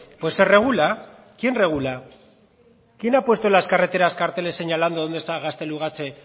pues se regula quién regula quién ha puesto en las carreteras carteles señalando dónde está gaztelugatxe